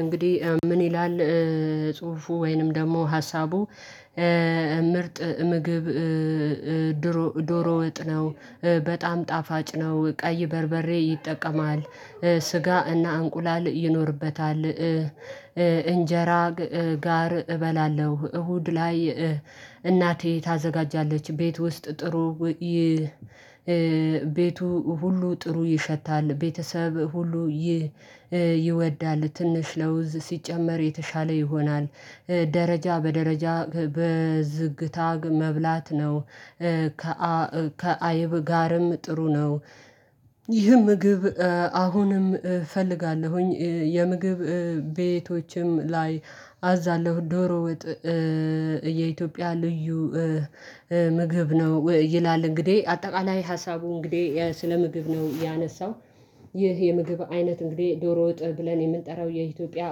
እንግዲህ ምን ይላል? ጽሁፉ ወይንም ደግሞ ሀሳቡ ምርጥ ምግብ ድሮ ዶሮ ወጥ ነው በጣም ጣፋጭ ነው ቀይ በርበሬ ይጠቀማል። ስጋ እና እንቁላል ይኖርበታል። እንጀራ ጋር እበላለሁ እሁድ ላይ እናቴ ታዘጋጃለች ቤት ውስጥ ጥሩ ቤቱ ሁሉ ጥሩ ይሸታል ቤተሰብ ሁሉ ይወዳል። ትንሽ ለውዝ ሲጨመር የተሻለ ይሆናል። ደረጃ በደረጃ በዝግታ መብላት ነው። ከአይብ ጋርም ጥሩ ነው። ይህ ምግብ አሁንም ፈልጋለሁኝ የምግብ ቤቶችም ላይ አዛለሁ። ዶሮ ወጥ የኢትዮጵያ ልዩ ምግብ ነው ይላል። እንግዲህ አጠቃላይ ሀሳቡ እንግዲህ ስለ ምግብ ነው ያነሳው። ይህ የምግብ አይነት እንግዲህ ዶሮ ወጥ ብለን የምንጠራው የኢትዮጵያ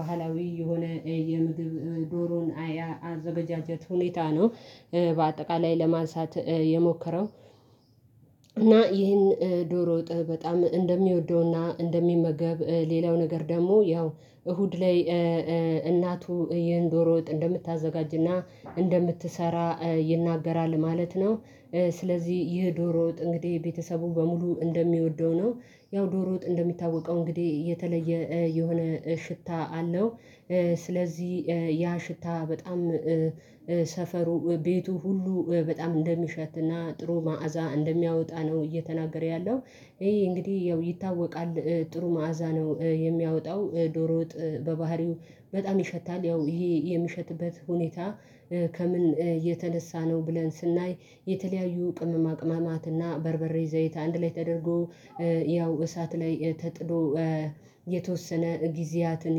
ባህላዊ የሆነ የምግብ ዶሮን አዘጋጀት ሁኔታ ነው። በአጠቃላይ ለማንሳት የሞከረው። እና ይህን ዶሮ ወጥ በጣም እንደሚወደውና እንደሚመገብ ሌላው ነገር ደግሞ ያው እሁድ ላይ እናቱ ይህን ዶሮ ወጥ እንደምታዘጋጅና እንደምትሰራ ይናገራል ማለት ነው። ስለዚህ ይህ ዶሮ ወጥ እንግዲህ ቤተሰቡ በሙሉ እንደሚወደው ነው ያው ዶሮ ወጥ እንደሚታወቀው እንግዲህ የተለየ የሆነ ሽታ አለው። ስለዚህ ያ ሽታ በጣም ሰፈሩ ቤቱ ሁሉ በጣም እንደሚሸትና ጥሩ መዓዛ እንደሚያወጣ ነው እየተናገረ ያለው። ይህ እንግዲህ ያው ይታወቃል ጥሩ መዓዛ ነው የሚያወጣው ዶሮ ወጥ በባህሪው በጣም ይሸታል ያው ይሄ የምሸትበት ሁኔታ ከምን የተነሳ ነው ብለን ስናይ የተለያዩ ቅመማ ቅማማትና በርበሬ ዘይት አንድ ላይ ተደርጎ ያው እሳት ላይ ተጥሎ የተወሰነ ጊዜያትን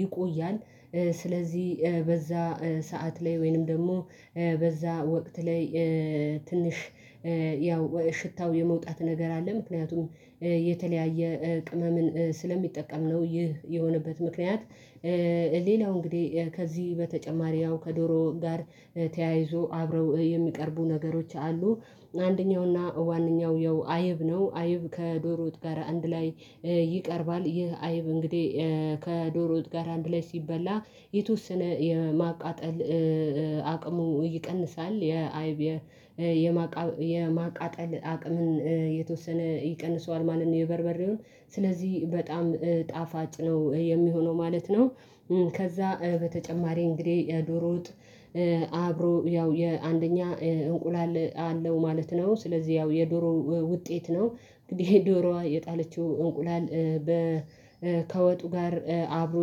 ይቆያል። ስለዚህ በዛ ሰዓት ላይ ወይንም ደግሞ በዛ ወቅት ላይ ትንሽ ያው ሽታው የመውጣት ነገር አለ ምክንያቱም የተለያየ ቅመምን ስለሚጠቀም ነው ይህ የሆነበት ምክንያት ሌላው እንግዲህ ከዚህ በተጨማሪ ያው ከዶሮ ጋር ተያይዞ አብረው የሚቀርቡ ነገሮች አሉ። አንደኛውና ዋነኛው ያው አይብ ነው። አይብ ከዶሮ ወጥ ጋር አንድ ላይ ይቀርባል። ይህ አይብ እንግዲህ ከዶሮ ወጥ ጋር አንድ ላይ ሲበላ የተወሰነ የማቃጠል አቅሙ ይቀንሳል። የማቃጠል አቅምን የተወሰነ ይቀንሰዋል ማለት ነው የበርበሬውን ስለዚህ በጣም ጣፋጭ ነው የሚሆነው ማለት ነው። ከዛ በተጨማሪ እንግዲህ ዶሮ ወጥ አብሮ ያው የአንደኛ እንቁላል አለው ማለት ነው። ስለዚህ ያው የዶሮ ውጤት ነው እንግዲህ ዶሮዋ የጣለችው እንቁላል ከወጡ ጋር አብሮ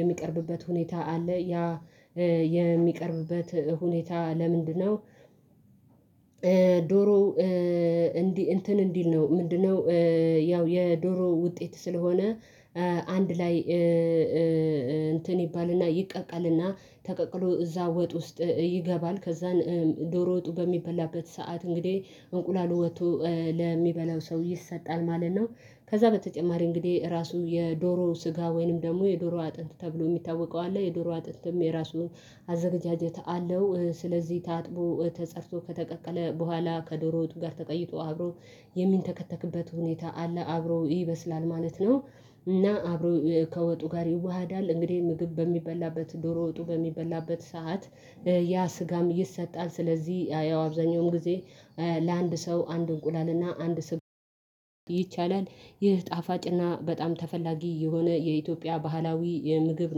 የሚቀርብበት ሁኔታ አለ። ያ የሚቀርብበት ሁኔታ ለምንድነው? ዶሮ እንዲህ እንትን እንዲል ነው ምንድነው? ያው የዶሮ ውጤት ስለሆነ አንድ ላይ እንትን ይባልና ይቀቀልና ተቀቅሎ እዛ ወጥ ውስጥ ይገባል ከዛን ዶሮ ወጡ በሚበላበት ሰዓት እንግዲህ እንቁላሉ ወጥቶ ለሚበላው ሰው ይሰጣል ማለት ነው። ከዛ በተጨማሪ እንግዲህ ራሱ የዶሮ ስጋ ወይንም ደግሞ የዶሮ አጥንት ተብሎ ሚታወቀው አለ። የዶሮ አጥንትም የራሱ አዘጋጀት አለው። ስለዚህ ታጥቦ ተፀድቶ ከተቀቀለ በኋላ ከዶሮ ወጡ ጋር ተቀይጦ አብሮ የሚንተከተክበት ሁኔታ አለ። አብሮ ይበስላል ማለት ነው። እና አብሮ ከወጡ ጋር ይዋሃዳል እንግዲህ ምግብ በሚበላበት ዶሮ ወጡ በሚበላበት ሰዓት ያ ስጋም ይሰጣል። ስለዚህ ያው አብዛኛውም ጊዜ ለአንድ ሰው አንድ እንቁላል እና አንድ ስጋ ይቻላል። ይህ ጣፋጭና በጣም ተፈላጊ የሆነ የኢትዮጵያ ባህላዊ ምግብ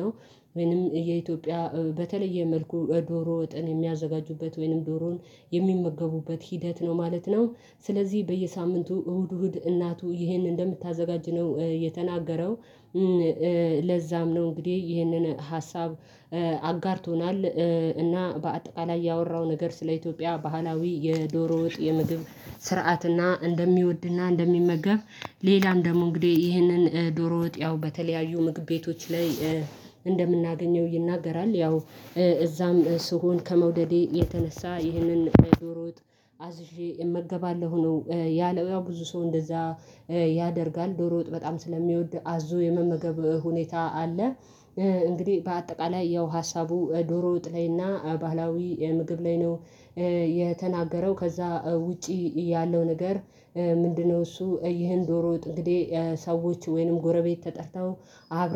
ነው ወይንም የኢትዮጵያ በተለየ መልኩ ዶሮ ወጥን የሚያዘጋጁበት ወይንም ዶሮን የሚመገቡበት ሂደት ነው ማለት ነው። ስለዚህ በየሳምንቱ እሁድ እሁድ እናቱ ይህንን እንደምታዘጋጅ ነው የተናገረው። ለዛም ነው እንግዲህ ይህንን ሀሳብ አጋርቶናል እና በአጠቃላይ ያወራው ነገር ስለ ኢትዮጵያ ባህላዊ የዶሮ ወጥ የምግብ ስርዓትና እንደሚወድና እንደሚመገብ ሌላም ደግሞ እንግዲህ ይህንን ዶሮ ወጥ ያው በተለያዩ ምግብ ቤቶች ላይ እንደምናገኘው ይናገራል። ያው እዛም ስሆን ከመውደዴ የተነሳ ይህንን ዶሮ አዝዤ እመገባለሁ ነው ያለው። ያው ብዙ ሰው እንደዛ ያደርጋል ዶሮ ወጥ በጣም ስለሚወድ አዞ የመመገብ ሁኔታ አለ። እንግዲህ በአጠቃላይ ያው ሀሳቡ ዶሮ ወጥ ላይ እና ባህላዊ ምግብ ላይ ነው። የተናገረው ከዛ ውጪ ያለው ነገር ምንድነው እሱ ይህን ዶሮ ወጥ እንግዲህ ሰዎች ወይንም ጎረቤት ተጠርተው አብረው